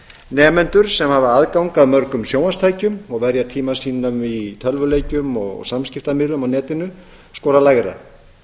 nemendur sem hafa aðgang að mörgum sjónvarpstækjum og verja tíma sínum í tölvuleikjum og samskiptamiðlum á netinu skora lægra